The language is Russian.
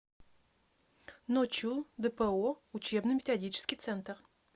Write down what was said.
ночу дпо учебно методический центр